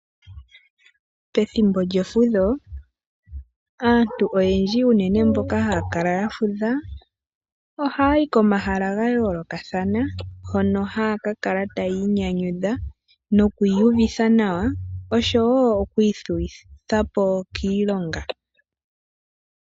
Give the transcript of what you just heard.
Pethimbo djefudho, aantu unene mboka haya kala ya fudha ohaya yi koma hala ga yoolokathana, hono haya ka kala tayii nyanyudha noku iyuvitha nawa, nosho woo oku ithuwi thapo kiilonga.